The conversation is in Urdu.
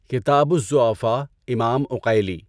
کتابُ الضُّعَفاء امام عُقَیلی